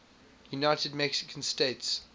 united mexican states